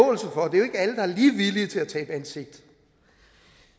og er lige villige til at tabe ansigt